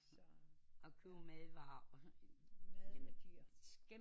At købe madvarer